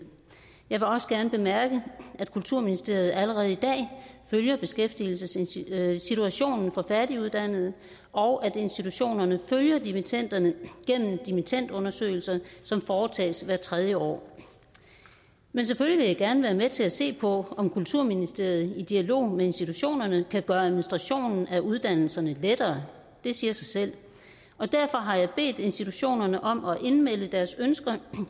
jeg vil også gerne bemærke at kulturministeriet allerede i dag følger beskæftigelsessituationen for færdiguddannede og at institutionerne følger dimittenderne gennem dimittendundersøgelser som foretages hvert tredje år men selvfølgelig vil jeg gerne være med til at se på om kulturministeriet i dialog med institutionerne kan gøre administrationen af uddannelserne lettere det siger sig selv og derfor har jeg bedt institutionerne om at melde deres ønsker